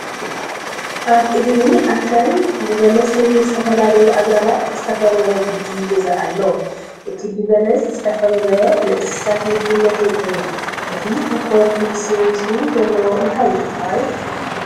ኣብ እግሪ ኣክራን ብበለስን ዝተፈላለዩ ኣግራባት ዝተከበበ ጉጂ ገዛ አሎ። እቲ ብበለስ ዝተከበበ ንእሰሳት ምግብነት ይውዕል። እቲ ተኮሊሲሱ ዘሉ እንታይ ይባሃል?